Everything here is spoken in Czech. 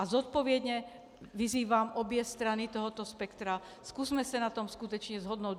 A zodpovědně vyzývám obě strany tohoto spektra, zkusme se na tom skutečně shodnout.